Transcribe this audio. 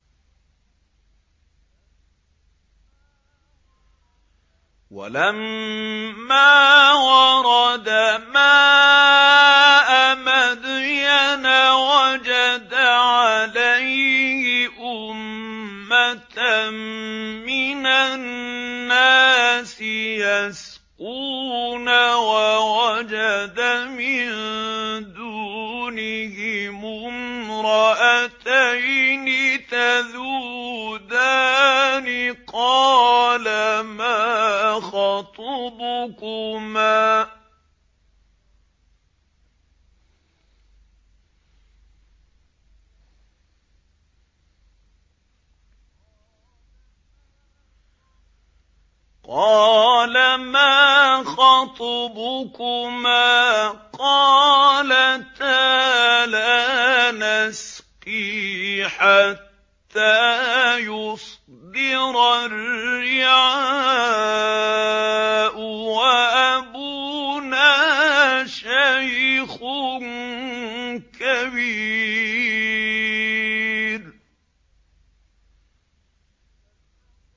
وَلَمَّا وَرَدَ مَاءَ مَدْيَنَ وَجَدَ عَلَيْهِ أُمَّةً مِّنَ النَّاسِ يَسْقُونَ وَوَجَدَ مِن دُونِهِمُ امْرَأَتَيْنِ تَذُودَانِ ۖ قَالَ مَا خَطْبُكُمَا ۖ قَالَتَا لَا نَسْقِي حَتَّىٰ يُصْدِرَ الرِّعَاءُ ۖ وَأَبُونَا شَيْخٌ كَبِيرٌ